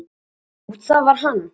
"""Jú, það var hann!"""